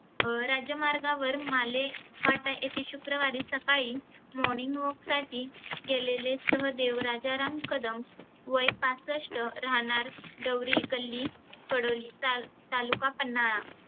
अं राज्यमार्गावर माले फाटा येथे शुक्रवारी सकाळी morning walk साठी गेलेले सहदेव राजाराम कदम वय पासष्ट राहनार गौरी कल्ली कडोली ताल तालूका पन्हाळा.